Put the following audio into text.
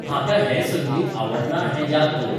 म्हाका हें संंगीत आवडना हें याद दवर